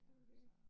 Det jo det